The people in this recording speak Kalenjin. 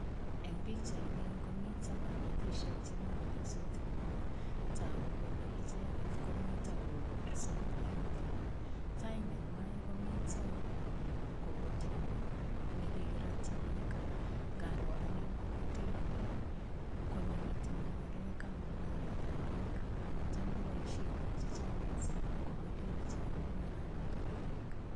Eng pichaini komito kamatisiek chemi kotepsot. Tagu kole icheget komito kobursot eng kaa. Tai nengwai komito, mgogoteni ne kigiratyi beek. Ngaroo anne mgogoteni, konyo metinyu ngakekab mungaretab beek amu cham ngoboisien biik chechang mising mgogoteni che yoe mungaranoto bo beek.